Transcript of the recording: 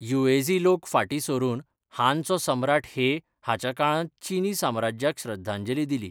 Yuezhi लोक फाटीं सरून हानचो सम्राट हे हाच्या काळांत चीनी साम्राज्याक श्रद्धांजली दिली.